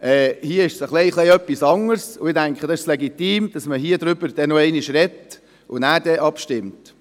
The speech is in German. Hier ist es etwas anderes, und ich denke, es ist legitim, dass man noch einmal darüber spricht und danach abstimmt.